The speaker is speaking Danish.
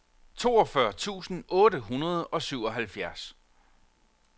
toogfyrre tusind otte hundrede og syvoghalvfjerds